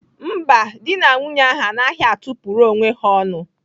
Mba, dị na nwunye ahụ anaghị atụ pụrụ onwe ha ọnụ.